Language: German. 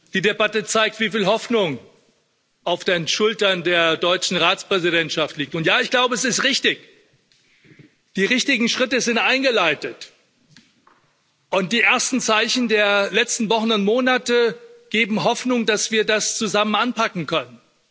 Die Debatte zeigt, wie viel Hoffnung auf den Schultern der deutschen Ratspräsidentschaft liegt. Ja, ich glaube, es ist richtig Die richtigen Schritte sind eingeleitet, und die ersten Zeichen der letzten Wochen und Monate geben Hoffnung, dass wir das zusammen anpacken können.